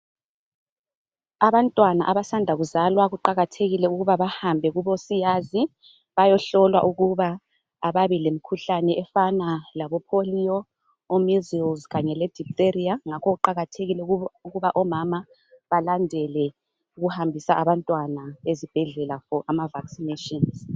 Abantwana abasanda kuzalwa kuqakathekile ukuba bahambe kubosiyazi, bayohlolwa ukuba ababi lemkhuhlane efana labo polio, o measles kanye le diphtheria, ngakho kuqakathekile ukuba omama balandele ukuhambisa abantwana ezibhedlela for ama vaccinations.